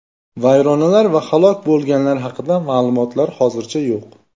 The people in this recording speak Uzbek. Vayronalar va halok bo‘lganlar haqida ma’lumot hozircha yo‘q.